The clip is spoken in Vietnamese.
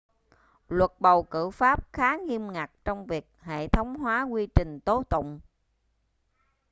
luật bầu cử pháp khá nghiêm ngặt trong việc hệ thống hóa quy trình tố tụng